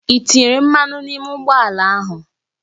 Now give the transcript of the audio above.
Ị tinyekwuru mmanụ n'ime ụgbọ ala ahụ?